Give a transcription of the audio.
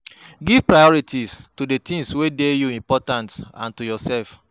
Give priority to di things wey dey you important and to yourself